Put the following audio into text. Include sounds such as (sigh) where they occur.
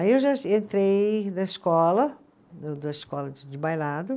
Aí eu já entrei na escola, (unintelligible) na escola de de bailado.